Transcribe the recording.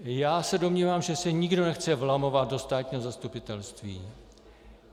Já se domnívám, že se nikdo nechce vlamovat do státního zastupitelství.